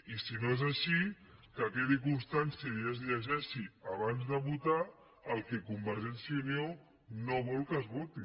i si no és així que quedi constància i es llegeixi abans de votar el que convergència i unió no vol que es voti